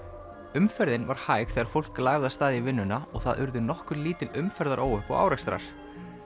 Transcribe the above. umferðin var hæg þegar fólk lagði af stað í vinnuna og það urðu nokkur lítil umferðaróhöpp og árekstrar